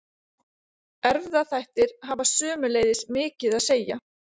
Erfðaþættir hafa sömuleiðis mikið að segja.